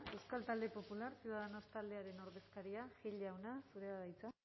euskal talde popular ciudadanos taldearen ordezkaria gil jauna zurea da hitza